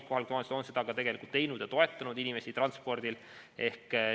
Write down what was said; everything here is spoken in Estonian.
Kohalikud omavalitsused on seda ka teinud ja toetanud inimesi transpordiga.